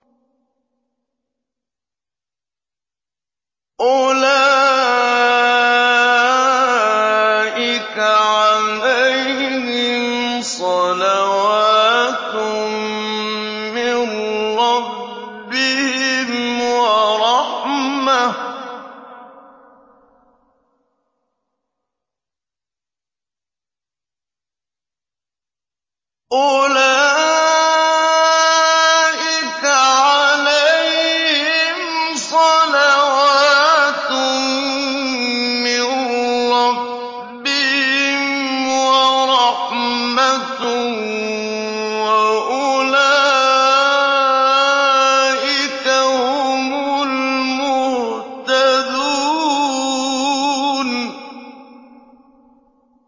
أُولَٰئِكَ عَلَيْهِمْ صَلَوَاتٌ مِّن رَّبِّهِمْ وَرَحْمَةٌ ۖ وَأُولَٰئِكَ هُمُ الْمُهْتَدُونَ